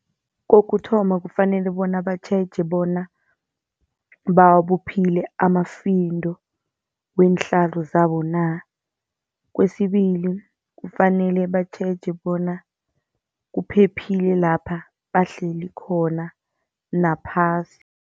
Kokuthoma kufanele bona batjheje bona bawabophile amafindo, weenhlalo zabo na. Kwesibili kufanele batjheje bona kuphephile lapha bahleli khona naphasi.